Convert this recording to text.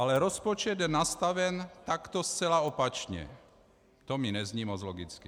Ale rozpočet je nastaven takto zcela opačně, to mi nezní moc logicky.